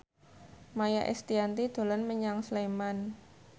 Maia Estianty dolan menyang Sleman